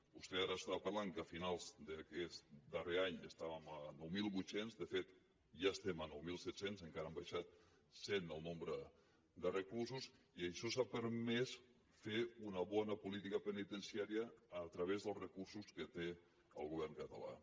vostè ara estava parlant que a finals d’aquest darrer any estàvem a nou mil vuit cents de fet ja estem a nou mil set cents encara ha baixat en cent el nombre de reclusos i això ens ha permès fer una bona política penitenciària a través dels recursos que té el govern català